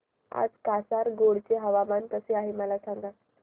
आज कासारगोड चे हवामान कसे आहे मला सांगा